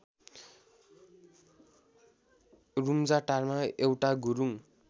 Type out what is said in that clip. रुम्जाटारमा एउटा गुरुङ